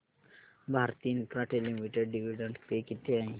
Bharti Infratel limited dividend pay किती आहे